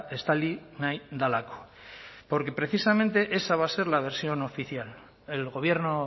estali nahi delako porque precisamente esa va a ser la versión oficial el gobierno